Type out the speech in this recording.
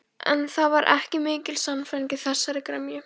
En það var ekki mikil sannfæring í þessari gremju.